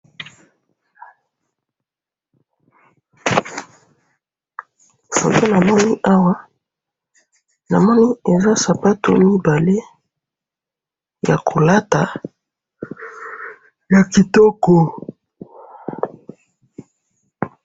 photo na mini awa na moni eza sapatu mibale yako lata ya kitoko